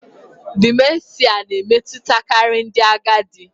Dimenshịa na-emetụtakarị ndị agadi